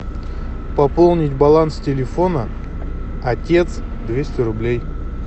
пополнить баланс телефона отец двести рублей